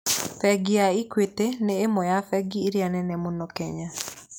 Bengi ya Equity nĩ ĩmwe ya bengi iria nene mũno Kenya.